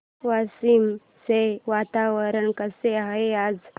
वाशिम चे वातावरण कसे आहे आज